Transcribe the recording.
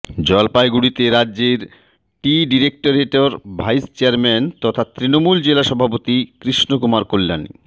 জলপাইগুড়িতে রাজ্যের টি ডিরেক্টরেটের ভাইস চেয়ারম্যান তথা তৃণমূল জেলা সভাপতি কৃষ্ণকুমার কল্যাণী